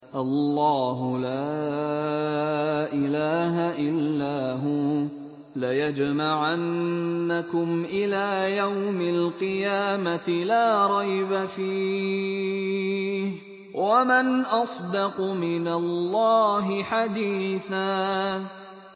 اللَّهُ لَا إِلَٰهَ إِلَّا هُوَ ۚ لَيَجْمَعَنَّكُمْ إِلَىٰ يَوْمِ الْقِيَامَةِ لَا رَيْبَ فِيهِ ۗ وَمَنْ أَصْدَقُ مِنَ اللَّهِ حَدِيثًا